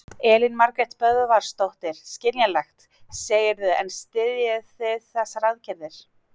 Elín Margrét Böðvarsdóttir: Skiljanlegt, segirðu en styðjið þið þessar aðgerðir?